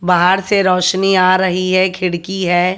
बाहर से रोशनी आ रही है खिड़की है।